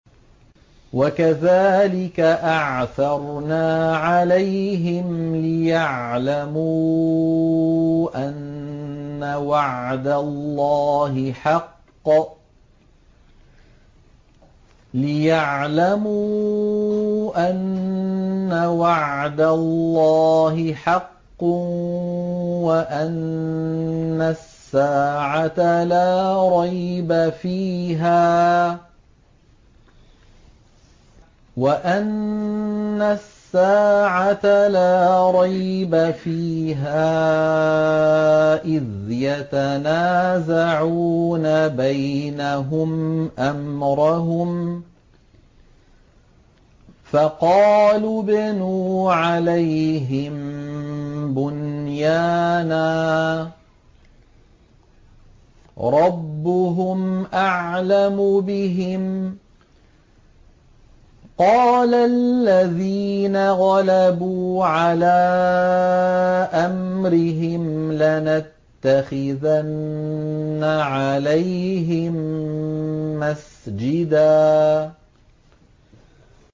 وَكَذَٰلِكَ أَعْثَرْنَا عَلَيْهِمْ لِيَعْلَمُوا أَنَّ وَعْدَ اللَّهِ حَقٌّ وَأَنَّ السَّاعَةَ لَا رَيْبَ فِيهَا إِذْ يَتَنَازَعُونَ بَيْنَهُمْ أَمْرَهُمْ ۖ فَقَالُوا ابْنُوا عَلَيْهِم بُنْيَانًا ۖ رَّبُّهُمْ أَعْلَمُ بِهِمْ ۚ قَالَ الَّذِينَ غَلَبُوا عَلَىٰ أَمْرِهِمْ لَنَتَّخِذَنَّ عَلَيْهِم مَّسْجِدًا